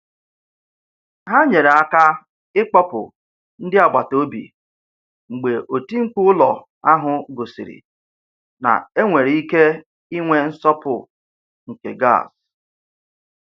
Ha nyere aka ịkpọpụ ndị agbataobi mgbe oti mkpu ụlọ ahụ gosiri na e nwere ike inwe nsọpụ nke gas.